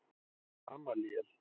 Gamalíel